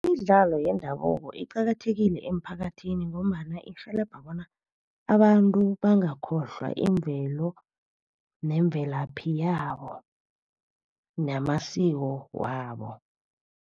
Imidlalo yendabuko iqakathekile emiphakathini ngombana irhelebha bona abantu bangakhohlwa imvelo, nemvelaphi yabo namasiko wabo.